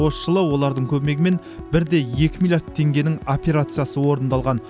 осы жылы олардың көмегімен бір де екі миллиард теңгенің операциясы орындалған